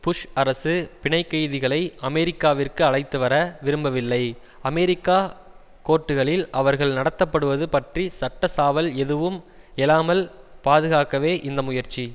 push அரசு பிணைக்கைதிகளை அமெரிக்காவிற்கு அழைத்து வர விரும்பவில்லை அமெரிக்க கோர்ட்டுகளில் அவர்கள் நடத்தப்படுவது பற்றி சட்ட சாவல் எதுவும் எழாமல் பாதுகாக்கவே இந்த முயற்சி